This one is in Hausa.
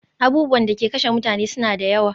Abubuwan da ke kashe mutane suna da yawa